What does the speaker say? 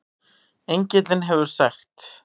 Engillinn hefur sagt